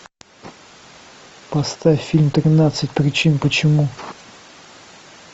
поставь фильм тринадцать причин почему